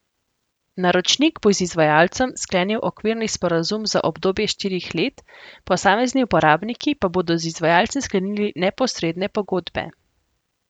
Naročnik bo z izvajalcem sklenil okvirni sporazum za obdobje štirih let, posamezni uporabniki pa bodo z izvajalcem sklenili neposredne pogodbe.